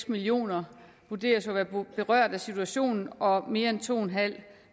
millioner vurderes at være berørt af situationen og mere end to en halv